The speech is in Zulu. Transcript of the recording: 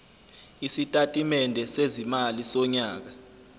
isitatimende sezimali sonyaka